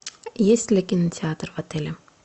есть ли кинотеатр в отеле